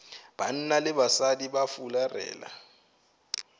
banna le basadi ba fularela